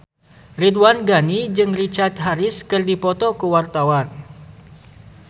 Ridwan Ghani jeung Richard Harris keur dipoto ku wartawan